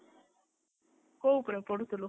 କୋଉ ଉପରେ ପଢୁଥିଲୁ?